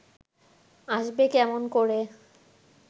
আসবে কেমন করে